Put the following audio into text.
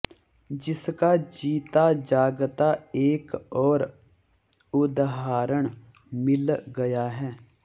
जिसका जीता जागता एक और उदहारण मिल गया है